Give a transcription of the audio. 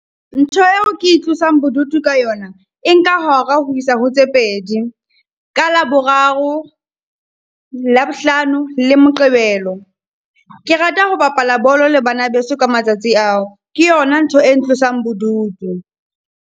Ntho eo ke e tlosang bodutu ka yona, e nka hora ho isa ho tse pedi. Ka Laboraro, Labohlano le Moqebelo. Ke rata ho bapala bolo le bana beso ka matsatsi ao, ke yona ntho e ntlosang bodutu.